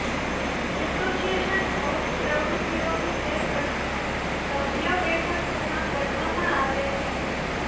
association of પ્રવૃત્તિઓ વિશે પ્રશ્નો સભ્યો બેઠકોમાં ગણવામાં આવે છે